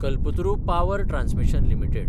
Kalpataru power transmission limited